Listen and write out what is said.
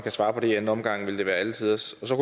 svare på det i anden omgang vil det være alle tiders så